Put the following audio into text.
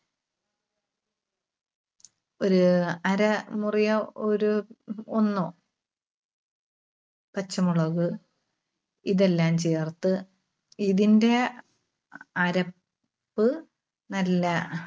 ഒരു അരമുറിയോ ഒരു ഒന്നോ പച്ചമുളക് ഇതെല്ലാം ചേർത്ത് ഇതിന്റെ അര~പ്പ് നല്ല